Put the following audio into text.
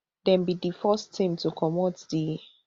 dem be di first team to comot di